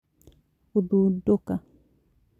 Gũthundũka